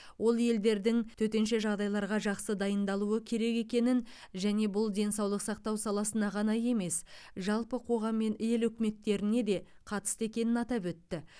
ол елдердің төтенше жағдайларға жақсы дайындалуы керек екенін және бұл денсаулық сақтау саласына ғана емес жалпы қоғам мен ел үкіметтеріне де қатысты екенін атап өтті